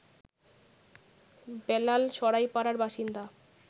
বেলাল সরাইপাড়ার বাসিন্দা